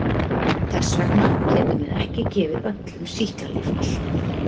Þess vegna getum við ekki gefið öllum sýklalyf alltaf.